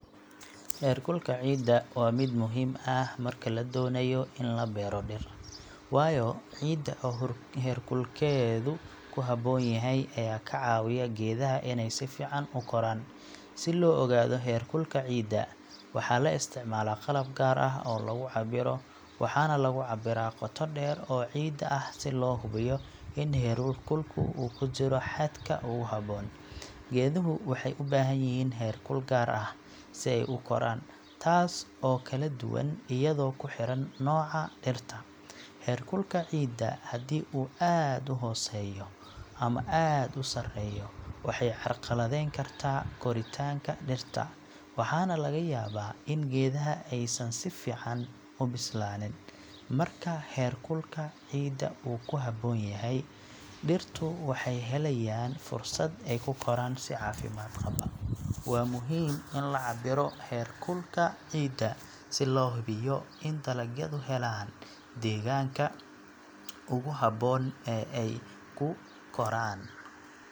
Heerkulka ciidda waa mid muhiim ah marka la doonayo in la beero dhir, waayo ciidda oo heerkulkeedu ku habboon yahay ayaa ka caawiya geedaha inay si fiican u koraan. Si loo ogaado heerkulka ciidda, waxaa la isticmaalaa qalab gaar ah oo lagu cabiro, waxaana lagu cabiraa qoto dheer oo ciidda ah si loo hubiyo in heerkulku uu ku jiro xadka ugu habboon. Geeduhu waxay u baahan yihiin heerkul gaar ah si ay u koraan, taas oo kala duwan iyadoo ku xiran nooca dhirta. Heerkulka ciidda haddii uu aad u hooseeyo ama aad u sareeyo, waxay carqaladeyn kartaa koritaanka dhirta, waxaana laga yaabaa in geedaha aysan si fiican u bislaanin. Marka heerkulka ciidda uu ku habboon yahay, dhirtu waxay helayaan fursad ay ku koraan si caafimaad qaba. Waa muhiim in la cabbiro heerkulka ciidda si loo hubiyo in dalagyadu helaan deegaanka ugu habboon ee ay ku koraan.